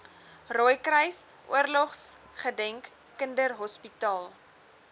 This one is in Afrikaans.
rooikruis oorlogsgedenk kinderhospitaal